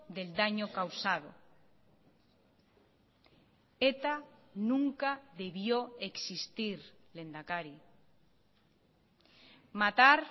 del daño causado eta nunca debió existir lehendakari matar